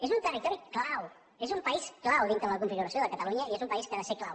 és un territori clau és un país clau dintre la configuració de catalunya i és un país que ha de ser clau